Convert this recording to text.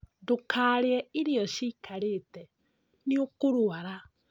Ndũkarĩe irio cikarĩte nĩ ũkũrwara